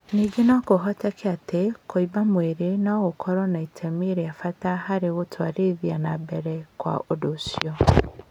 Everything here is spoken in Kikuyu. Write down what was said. Ningĩ no kũhoteke atĩ kũimba mwĩrĩ no gũkoragwo na itemi rĩa bata harĩ gũtwarithia na mbere kwa ũndũ ũcio.